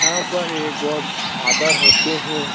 यहाँ पर एक गॉड फादर होते है।